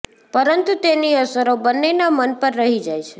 પરંતુ તેની અસરો બંનેના મન પર રહી જાય છે